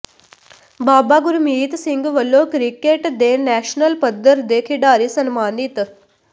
ਬਾਬਾ ਗੁਰਮੀਤ ਸਿੰਘ ਵੱਲੋਂ ਕਿ੍ਕਟ ਦੇ ਨੈਸ਼ਨਲ ਪੱਧਰ ਦੇ ਖਿਡਾਰੀ ਸਨਮਾਨਿਤ